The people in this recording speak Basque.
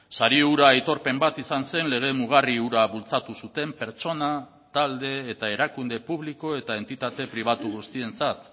sari hura aitorpen bat izan zen lege mugarri hura bultzatu zuten pertsona talde eta erakunde publiko eta entitate pribatu guztientzat